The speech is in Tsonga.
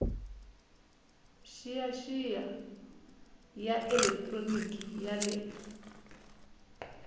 xiyaxiya ya elekitroniki ya le